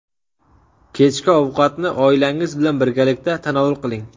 Kechki ovqatni oilangiz bilan birgalikda tanovul qiling.